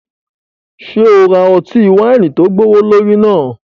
Ṣe o ra ọti-waini tó gbowolori náà?